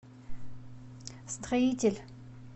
строитель